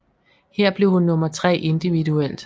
Her blev hun nummer tre individuelt